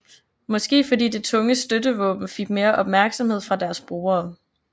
Måske fordi det tunge støttevåben fik mere opmærksomhed fra deres brugere